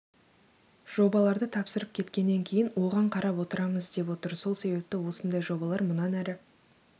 жобаларды тапсырып кеткеннен кейін оған қарап отырамыз деп отыр сол себепті осындай жобалар мұнан әрі